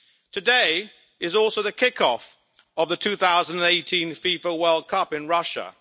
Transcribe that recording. Today is also the kick off of the 2018 FIFA World Cup in Russia.